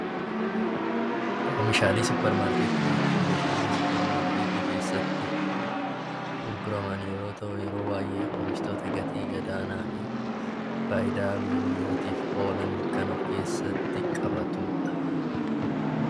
Meeshaalee suupparmaarkeetii jechuun meeshaalee suupparmaarkeetii keessatti gurguraman yeroo ta'u yeroo baay'ee wantoota gatii gadaanaa fi fayidaa guyyaa guyyaatiif oolan of keessatti qabatudha